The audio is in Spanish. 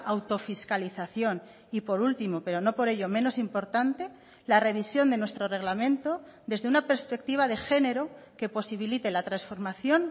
autofiscalización y por último pero no por ello menos importante la revisión de nuestro reglamento desde una perspectiva de género que posibilite la transformación